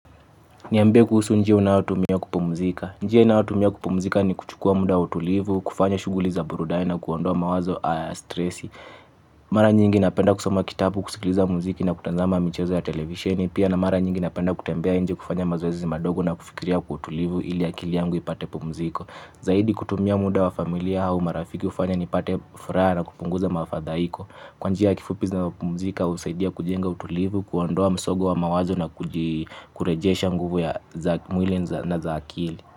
Niambie kuhusu njia unayotumia kupumzika. Njia ninayotumia kupumzika ni kuchukua muda wa utulivu, kufanya shughuli za burudani na kuondoa mawazo haya ya stresi. Mara nyingi napenda kusoma kitabu, kusikiliza muziki na kutazama michezo ya televisheni. Pia na mara nyingi napenda kutembea nje kufanya mazoezi madogo na kufikiria kwa utulivu ili akili yangu ipate pumziko. Zaidi kutumia muda wa familia au marafiki hufanya nipate furaha na kupunguza mafadhaiko. Kwa njia ya kifupi zinazopumzika usaidia kujenga utulivu, kuondoa msongo wa mawazo na kurejesha nguvu ya mwili na za akili.